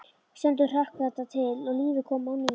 Stundum hrökk þetta til og lífið kom á ný.